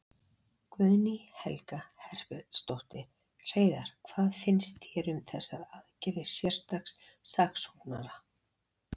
Guðný Helga Herbertsdóttir: Hreiðar, hvað finnst þér um þessar aðgerðir sérstaks saksóknara?